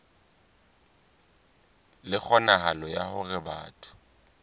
le kgonahalo ya hore batho